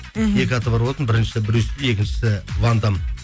мхм екі аты бар болатын біріншісі брюс ли екіншісі ван дам